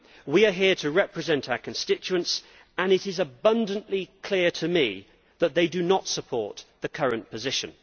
We are here to represent our constituents and it is abundantly clear to me that they do not support the current position.